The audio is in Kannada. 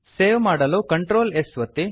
ಸೇವ್ ಮಾಡಲು Ctrl s ಒತ್ತಿ